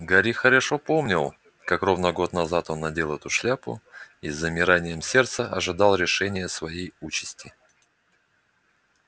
гарри хорошо помнил как ровно год назад он надел эту шляпу и с замиранием сердца ожидал решения своей участи